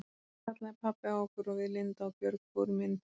Svo kallaði pabbi á okkur og við Linda og Björg fórum inn til þeirra.